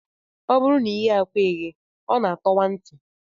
Ọ bụrụ na ị ghee akwa eghee, ọ na-atọwa ntị